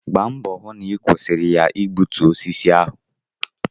Gba mbọ hụ na ị kwụsịrị ha igbutu osisi ahụ!